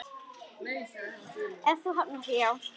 Ef þú hafnar því, já.